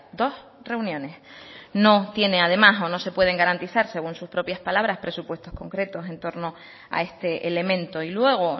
dos reuniones no tiene además o no se pueden garantizar según sus propias palabras presupuestos concretos en torno a este elemento y luego